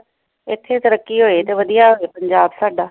ਇਥੇ ਤਰੱਕੀ ਹੋਏ ਤੇ ਵਧੀਆ ਹੋਵੇ ਪੰਜਾਬ ਸਾਡਾ